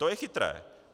To je chytré.